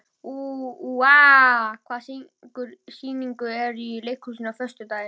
Úa, hvaða sýningar eru í leikhúsinu á föstudaginn?